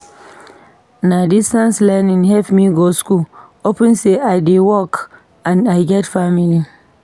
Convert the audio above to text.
Na distance learning help me go skool upon sey I dey work and I get family.